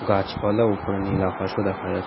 গাছপালা ওপরে নীল আকাশ ও দেখা যাচ--